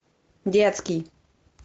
детский